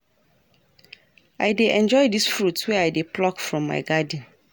I dey enjoy dese fruits wey I dey pluck from my garden.